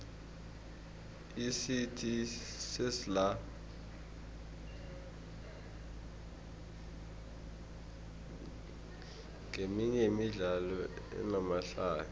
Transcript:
icity sesla nqeminye yemidlalo enamahlaya